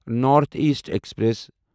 north east express